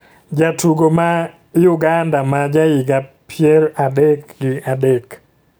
jatugo ma uganda ma jahiga pier adek gi adek